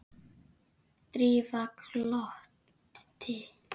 Drífa glotti.